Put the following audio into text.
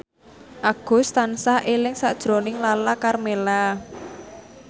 Agus tansah eling sakjroning Lala Karmela